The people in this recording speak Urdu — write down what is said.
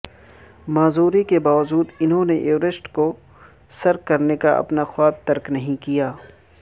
معذوری کے باوجود انھوں نے ایورسٹ کو سر کرنے کا اپنا خواب ترک نہیں کیا